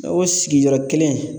O sigiyɔrɔ kelen